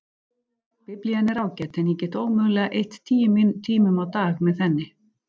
Biblían er ágæt en ég get ómögulega eytt tíu tímum á dag með henni.